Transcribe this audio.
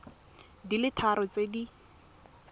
di le tharo tse di